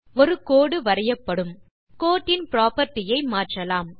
ஒரு கோடு வரையப்படும் கோட்டின் புராப்பர்ட்டி ஐ மாற்றலாம்